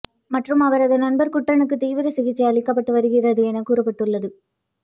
மற்றும் அவரது நண்பர் குட்டனுக்கு தீவிர சிகிச்சை அளிக்கப்பட்டு வருகிறது என கூறப்பட்டு உள்ளது